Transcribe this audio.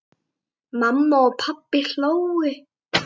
Mamma og pabbi hlógu.